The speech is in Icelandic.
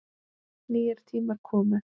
Nýir tímar komu.